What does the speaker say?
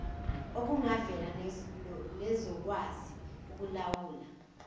okungavela nezokwazi ukukulawula